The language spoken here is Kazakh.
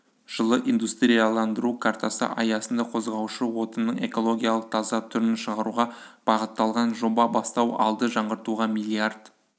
жылы индустрияландыру картасы аясында қозғаушы отынның экологиялық таза түрін шығаруға бағытталған жоба бастау алды жаңғыртуға миллиард